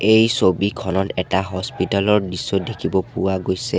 এই ছবিখনত এটা হস্পিতাল ৰ দৃশ্য দেখিব পোৱা গৈছে।